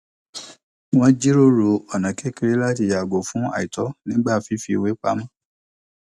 wọn jíròrò ọnà kékeré láti yàgò fún àìtọ nígbà fífi ìwé pamọ